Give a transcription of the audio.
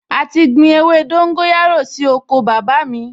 A ti gbin ewé dóńgóyárò sí oko bàbá mi